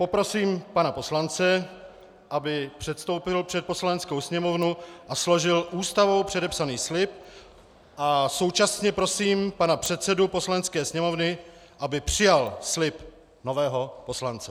Poprosím pana poslance, aby předstoupil před Poslaneckou sněmovnu a složil Ústavou předepsaný slib, a současně prosím pana předsedu Poslanecké sněmovny, aby přijal slib nového poslance.